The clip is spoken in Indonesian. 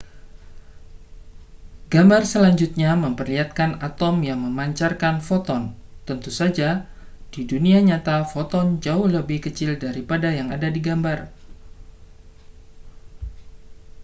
gambar selanjutnya memperlihatkan atom yang memancarkan foton tentu saja di dunia nyata foton jauh lebih kecil daripada yang ada di gambar